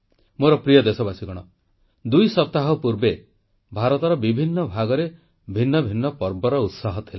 ମୋର ପ୍ରିୟ ଦେଶବାସୀ ଦୁଇ ସପ୍ତାହ ପୂର୍ବେ ଭାରତର ବିଭିନ୍ନ ଭାଗରେ ଭିନ୍ନ ଭିନ୍ନ ପର୍ବର ଉତ୍ସାହ ଥିଲା